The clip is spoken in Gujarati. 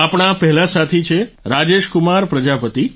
આપણા પહેલા સાથી છે રાજેશ કુમાર પ્રજાપતિ